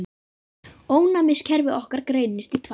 Ónæmiskerfi okkar greinist í tvær deildir.